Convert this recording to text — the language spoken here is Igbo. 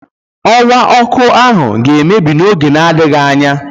Ọwa ọkụ ahụ ga-emebi n'oge na-adịghị anya.